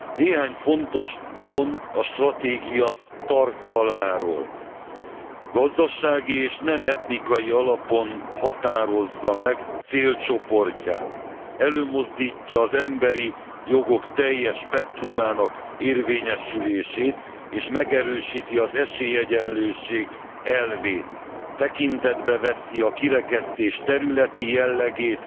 Néhány fontos pont a stratégia tartalmáról gazdasági és nem etnikai alapon határozza meg célcsoportját, előmozdítja az emberi jogok teljes spektrumának érvényesülését, és megerősíti az esélyegyenlőség elvét, tekintetbe veszi a kirekesztés területi jellegét